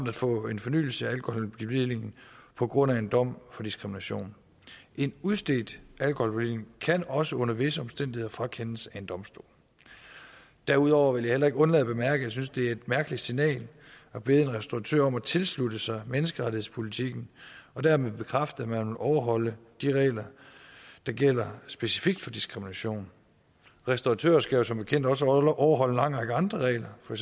at få en fornyelse af alkoholbevillingen på grund af en dom for diskrimination en udstedt alkoholbevilling kan også under visse omstændigheder frakendes af en domstol derudover vil jeg heller ikke undlade at bemærke at jeg synes det er et mærkeligt signal at bede en restauratør om at tilslutte sig menneskerettighedspolitikken og dermed bekræfte at man vil overholde de regler der gælder specifikt for diskrimination restauratører skal jo som bekendt også overholde en lang række andre regler for